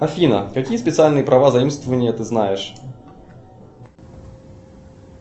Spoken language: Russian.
афина какие специальные права заимствования ты знаешь